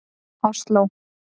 Osló